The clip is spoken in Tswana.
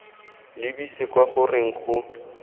lebise kwa go reng go